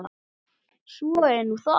Svo er nú það.